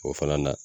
O fana na